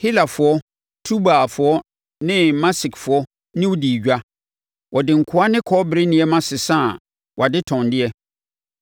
“ ‘Helafoɔ, Tubalfoɔ ne Mesekfoɔ ne wo dii edwa. Wɔde nkoa ne kɔbere nneɛma sesaa wʼadetɔndeɛ.